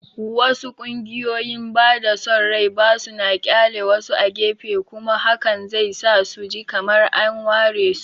Wasu ƙungiyoyin bada son rai ba suna ƙyale wasu a gefe, kuma hakan zai sa su ji kamar an waresu.